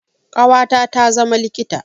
Ƙawata ta zama likita.